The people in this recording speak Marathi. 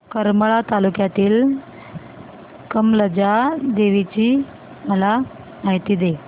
करमाळा तालुक्यातील कमलजा देवीची मला माहिती दे